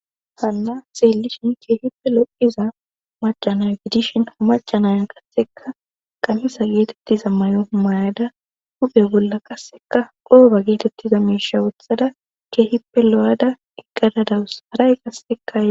hanna xeelishin keehippe lo7iza macanaya gidishin hamacanaya kasseka qamisa geetettiza may7o mayada huphe bolla qasseka qooba geetettiza miisha wothada keehippe lo7ada egqadadawus haray qasseka e